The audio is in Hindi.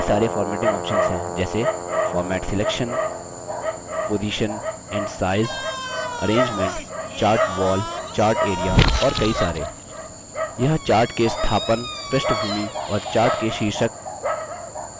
आप देखते हैं कि dropdown menu में कई सरे formatting options हैं जैसे format selection position and size arrangement chart wall chart area और कई सारे